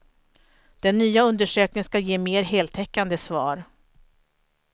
Den nya undersökningen ska ge mer heltäckande svar.